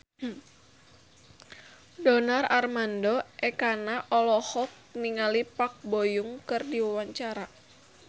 Donar Armando Ekana olohok ningali Park Bo Yung keur diwawancara